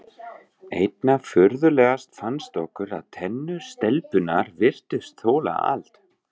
Einna furðulegast fannst okkur að tennur stelpunnar virtust þola allt.